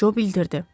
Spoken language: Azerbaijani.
Co bildirdi.